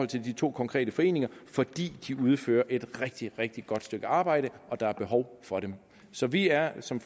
til de to konkrete foreninger fordi de udfører et rigtig rigtig godt stykke arbejde og der er behov for dem så vi er som